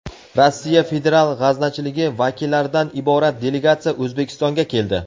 Rossiya federal g‘aznachiligi vakillaridan iborat delegatsiya O‘zbekistonga keldi.